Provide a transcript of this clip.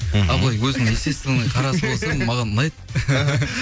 ал былай өзінің естественный қарасы болса маған ұнайды